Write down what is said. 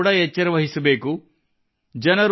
ಸ್ವತಃ ಕೂಡಾ ಎಚ್ಚರವಹಿಸಬೇಕು